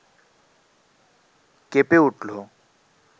কেঁপে উঠল